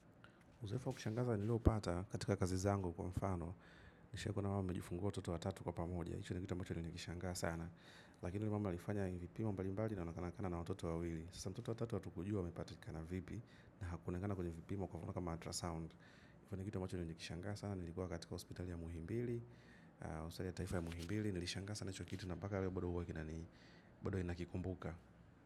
Uzoefu ya kushangaza niliopata katika kazi zangu kwa mfano. Nishawahi kuona mama amejifungua watoto watatu kwa pamoja. Hicho ni kitu ambacho nilikishangaa sana lakini mama alifanya mbalimbali akiwa na watoto wawili. Sasa mtoto wa tatu atukujua, amepatika na vipi. Na kulingana kwenye vipimo kwa mfano kama ultrasound. Kitu ambacho nilishanga sana. Nilikuwa katika hospital ya muhimbili. Usalia taifa ya muhimbili. Nilishangaa sana hicho kitu na mpaka leo bado huwa kina ni bado ninakikumbuka.